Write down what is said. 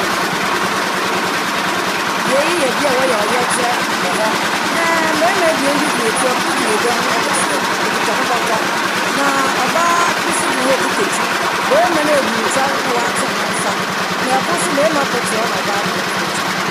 Bea yi yɛ bea aa wɔyɛ ɔyɛ kyerɛ wɔ hɔ. Na mbɛrima ebien bi gyina akyir hɔ, ɛkor gyina agua ho, ɛkor so okita be bɔtɔ. Na ɔbaa bi so gyina hɔ aa okita kyim. Bɛrima naagu ntwɛr na waaten ne nsa. Na ɛkor so bɛrima kor te hɔ na ɔbaa kor te ne nkyɛn.